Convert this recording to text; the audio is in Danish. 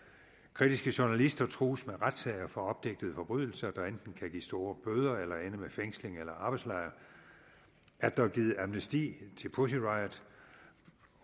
kritiske journalister trues med retssager for opdigtede forbrydelser der enten kan give store bøder eller ende med fængsling eller arbejdslejr at der er givet amnesti til pussy riot